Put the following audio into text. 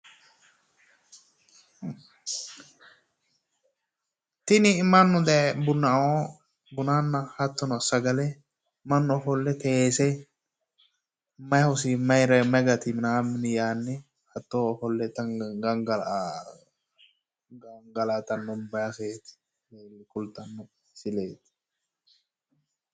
Tini mannu daye bunaoo bunanna hattono sagale mannu ofolle teese may hosi may gati minaammini yaanni gangalatanno baseeti woy kultanno misileeti